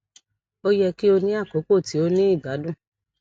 o yẹ ki o ni akoko ti o ni igbadun